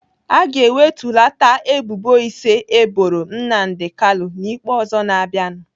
Aga ewetulata ebubo ise eboro Nnamdi Kanu n'ikpe ọzọ na-abịanụ.